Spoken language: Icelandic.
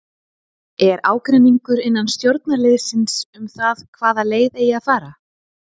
Er ágreiningur innan stjórnarliðsins um það hvaða leið eigi að fara?